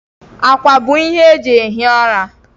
Akwa bụ ihe eji ehi ụra.